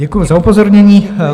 Děkuju za upozornění.